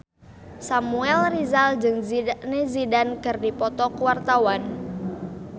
Samuel Rizal jeung Zidane Zidane keur dipoto ku wartawan